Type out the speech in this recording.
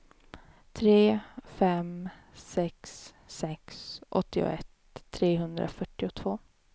tre fem sex sex åttioett trehundrafyrtiotvå